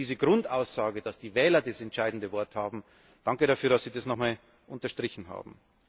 Diese Grundaussage, dass die Wähler das entscheidende Wort haben danke dafür, dass Sie das noch einmal unterstrichen haben.